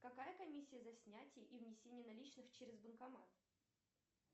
какая комиссия за снятие и внесение наличных через банкомат